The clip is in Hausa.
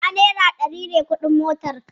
A'a, naira ɗari ne kuɗin motarki